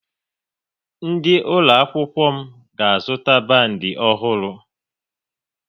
Ndị ụlọ akwụkwọ m ga-azụta bandi ọhụrụ